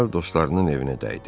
dostlarının evinə dəydi.